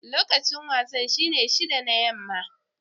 Lokacin wasan shine shida na yamma.